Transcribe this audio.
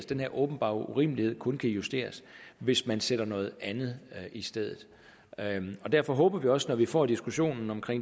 den her åbenbare urimelighed kun kan justeres hvis man sætter noget andet i stedet derfor håber vi også at når vi får diskussionen om